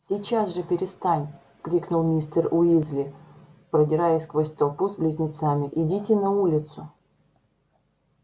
сейчас же перестань крикнул мистер уизли продираясь сквозь толпу с близнецами идите на улицу